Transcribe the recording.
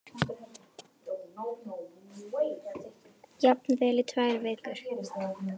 Jafnvel í tvær vikur.